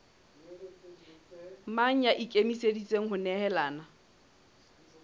mang ya ikemiseditseng ho nehelana